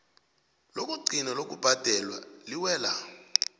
lokugcina lokubhadela liwela